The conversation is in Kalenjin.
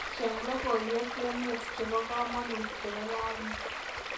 Cheng logoywek emet chebo kamanuut chebo rauni